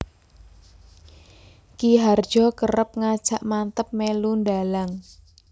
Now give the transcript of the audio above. Ki Hardjo kerep ngajak Manteb mèlu ndhalang